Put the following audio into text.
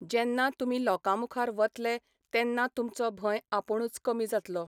जेन्ना तुमी लोकां मुखार वतले तेन्ना तुमचो भंय आपूणच कमी जातलो